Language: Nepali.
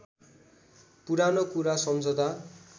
पुरानो कुरा सम्झँदा